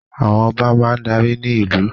Àwọn Ọba máa darí ní ìlú